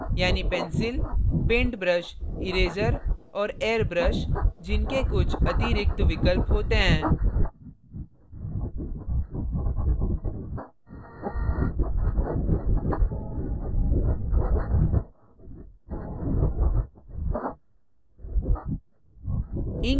यानी pencil paint brush eraser और airbrush जिनके कुछ अतिरिक्त विकल्प होते हैं